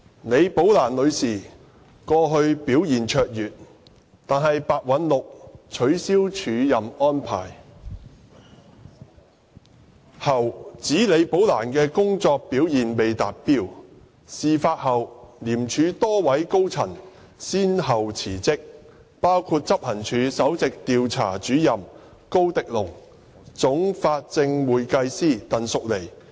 李寶蘭女士過去表現卓越，但白韞六取消署任安排後，指李寶蘭的工作表現未達標，事發後廉署多位高層人員先後辭職，包括執行處首席調查主任高迪龍和總法證會計師鄧淑妮。